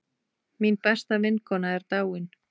Mín besta vinkona er dáin.